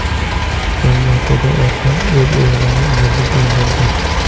Zangiotada ota o‘z o‘g‘lini bo‘g‘ib o‘ldirdi.